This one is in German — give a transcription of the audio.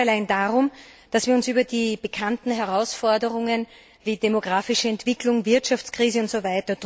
Es geht nicht allein darum, dass wir uns über die bekannten Herausforderungen wie demografische Entwicklung, Wirtschaftskrise usw.